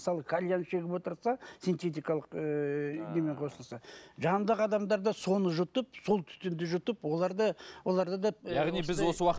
мысалы кальян шегіп отырса сентитикалық ыыы немен қосылса жанындағы адамдар да соны жұтып сол түтінді жұтып олар да оларда да